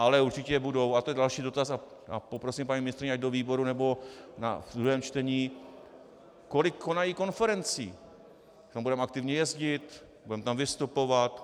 Ale určitě budou, a to je další dotaz a poprosím paní ministryni, ať do výboru nebo v druhém čtení, kolik konají konferencí, kam budeme aktivně jezdit, budeme tam vystupovat.